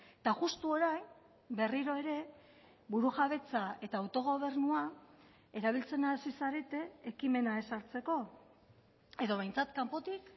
eta justu orain berriro ere burujabetza eta autogobernua erabiltzen hasi zarete ekimena ezartzeko edo behintzat kanpotik